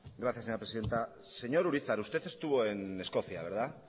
gracias señora presidenta señor urizar usted estuvo en escocia verdad